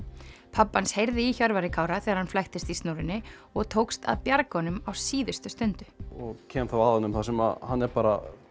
pabbi hans heyrði í Hjörvari Kára þegar hann flæktist í snúrunni og tókst að bjarga honum á síðustu stundu og kem þá að honum þar sem hann er bara